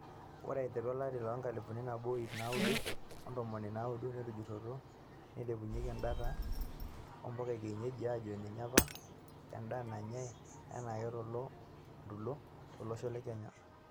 Ore aiteru olari lenkalifu nabo iip naaudo ontomoni naudo, netujuruo neilepunyie endaata ombuka ekienyeji ajo nyinye apa enda nanyae enaake tolontoluo lolosho lekenya.